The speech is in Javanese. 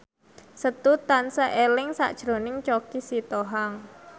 Setu tansah eling sakjroning Choky Sitohang